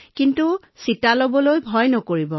অনুগ্ৰহ কৰি টীকাকৰণ কৰিবলৈ ভয় নকৰিব